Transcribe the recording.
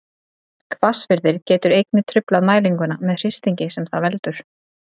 Hvassviðri getur einnig truflað mælinguna með hristingi sem það veldur.